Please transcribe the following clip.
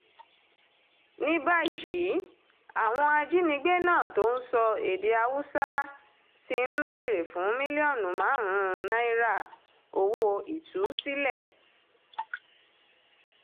ní báyìí àwọn ajínigbé náà tó ń sọ èdè haúsá ti ń béèrè fún mílíọ̀nù márùn-ún náírà owó ìtúsílẹ̀